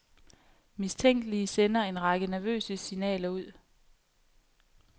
Mistænkelige sender en række nervøse signaler ud.